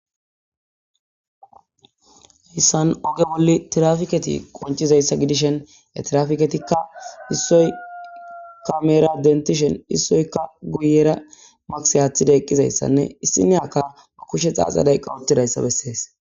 hayssan oge wolli trafiketi qoncizayssa gidishen e trafiketikka issoy ka mera dentishen issoyka guyera maksi aaththida eqqizayssanne issiniyakka a kushe xaaxaday qawotidayssa bessees